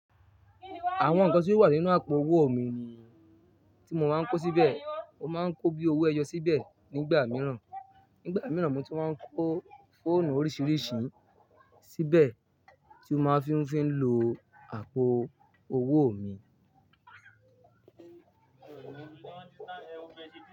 Àwọn nǹkan tí ó wà nínú àpò owó mi ni tí mo máa ń kó síbẹ̀. Mo máa ń kó bíi owó ẹyọ síbẹ̀ nígbà mìíràn. Nígbà mìíràn mo ti máa ń kó fóònù oríṣiríṣi síbẹ̀ tí ó máa ń fi ń fi ń lo àpò owó mi.